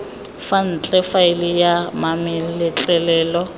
fa ntle faele ya mametlelelo